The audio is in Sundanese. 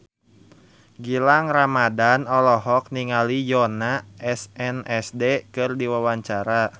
Gilang Ramadan olohok ningali Yoona SNSD keur diwawancara